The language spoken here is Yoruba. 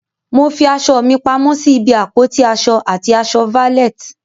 Mo fi aṣọ mi pamọ́ sí ibi àpótí aṣọ àti aṣọ valet.